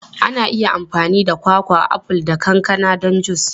Ana iya amfani da kwakwa, aful, da kankana don jus.